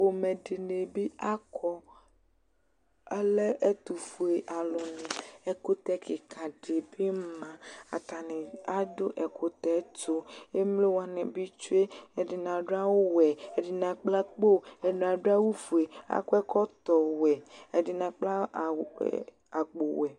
Pomɛ dɩ nɩ bɩ akɔ, alɛ ɛtʋfue alʋnɩ. Ɛkʋtɛ kɩka dɩ bɩ ma. Atanɩ adʋ ɛkʋtɛ yɛ tʋ. Emlo wanɩ bɩ tsue. Ɛdɩnɩ adʋ awʋwɛ, ɛdɩnɩ akpla akpo, ɛdɩnɩ adʋ awʋfue, akɔ ɛkɔtɔwɛ, ɛdɩnɩ akpla aw akpowɛ.